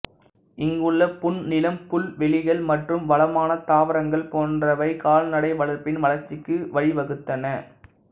இங்கு உள்ள புன்னிலம் புல்வெளிகள் மற்றும் வளமான தாவரங்கள் போன்றவை கால்நடை வளர்ப்பின் வளர்ச்சிக்கு வழிவகுத்தன